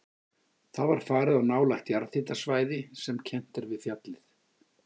Þá var farið á nálægt jarðhitasvæði sem kennt er við fjallið